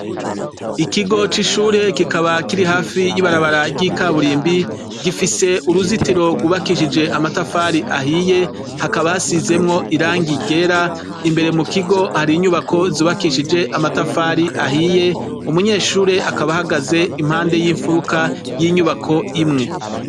Ikigo c'ishure kikaba kiri hafo y'ibarabara ry'ikaburimbi, gifise uruzitiro rwubakishije amatafari ahiye, hakaba hasizemwo irangi ryera, imbere mu kigo hari inyubako zubakishije amatafari ahiye, umunyeshure akaba ahagaze impande y'imfuruka, y'inyubako imwe.